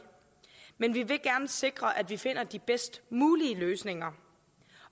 men vi vil gerne sikre at vi finder de bedst mulige løsninger